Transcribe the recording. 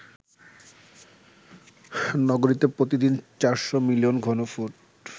নগরীতে প্রতিদিন ৪০০ মিলিয়ন ঘনফুট